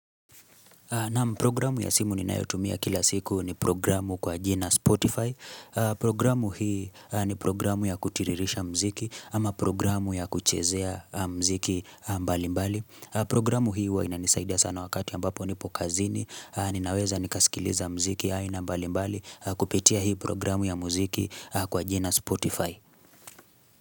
Programu ya simu ninayotumia kila siku ni programu kwa jina Spotify. Programu hii ni programu ya kutiririsha muziki ama programu ya kuchezea mziki mbali mbali. Programu hii huwa inanisaida sana wakati ambapo nipo kazini. Ninaweza nikasikiliza muziki aina mbali mbali kupitia hii programu ya muziki kwa jina Spotify.